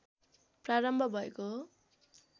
प्रारम्भ भएको हो